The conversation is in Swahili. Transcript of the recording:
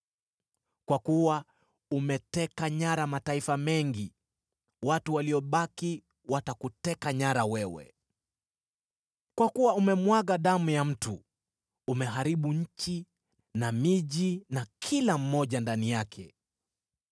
Kwa kuwa umeteka nyara mataifa mengi, watu waliobaki watakuteka nyara wewe. Kwa kuwa umemwaga damu ya mtu; umeharibu nchi na miji, na kila mmoja ndani yake.